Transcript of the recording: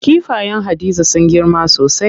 Kifayen Hadiza sun girma sosai.